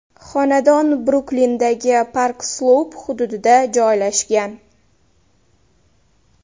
Xonadon Bruklindagi Park-Sloup hududida joylashgan.